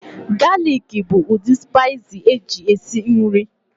Galik bụ ụdị spaiis eji esi nri.